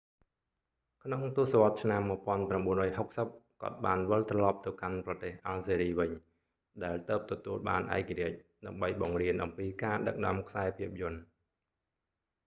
ក្នុងទសវត្សរ៍ឆ្នាំ1960 គាត់បានវិលត្រឡប់ទៅកាន់ប្រទេសអាល់ហ្សេរីវិញ ដែលទើបទទួលបានឯករាជ្យ ដើម្បីបង្រៀនអំពីការដឹកនាំខ្សែភាពយន្ត